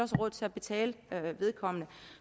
råd til at betale vedkommende